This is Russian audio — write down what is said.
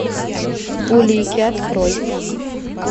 улики открой